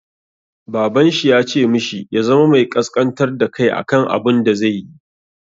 Baban shi ya ce mishi ya zama mai ƙasƙantar da kai a kan abun da zai yi.